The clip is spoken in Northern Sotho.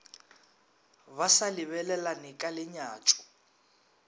ba sa lebelelane ka lenyatšo